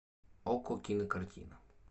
окко кинокартина